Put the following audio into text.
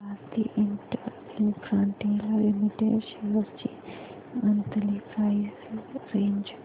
Bharti Infratel limited shares ची monthly price range